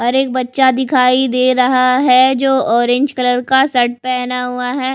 और एक बच्चा दिखाई दे रहा है जो ऑरेंज कलर का शर्ट पहना हुआ है।